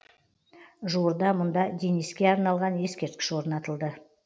жуырда мұнда дениске арналған ескерткіш орнатылды